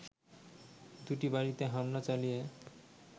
দুটি বাড়িতে হামলা চালিয়ে